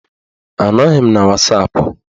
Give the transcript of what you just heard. Anọghị m na wasapụ